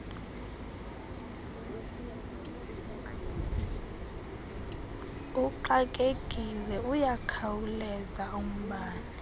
uxakekile liyakhawuleza ubone